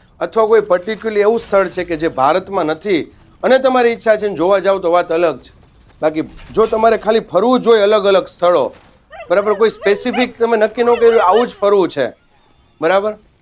અથવા કોઈ particular એવું સ્થળ છે કે જે ભારતમાં નથી અને તમારી ઈચ્છા છે જે જોવા જાવું તો વાત અલગ છે બાકી જો તમારે ખાલી ફરવુંજ હોય અલગ અલગ સ્થળો બરાબર કોઈ specific તમે નક્કી ના કર્યું હોય આવુજ ફરવું છે બરાબર